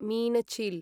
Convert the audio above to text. मीनचिल्